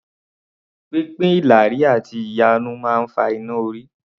Pínpín ìlàrí àti ìyarun máa ń fa iná-orí